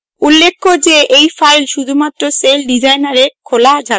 উল্লেখ্য যে এই file শুধুমাত্র celldesigner এ খোলা যাবে